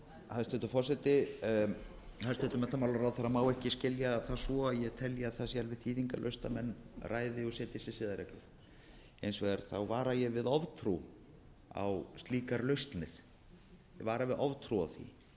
hæstvirtur forseti hæstvirtur menntamálaráðherra má ekki skilja það svo að ég telji að það sé alveg skýringarlaust að menn ræði og setji sér siðareglur hins vegar vara ég við oftrú á slíkar lausnir ég vara við oftrú á því